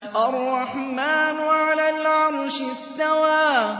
الرَّحْمَٰنُ عَلَى الْعَرْشِ اسْتَوَىٰ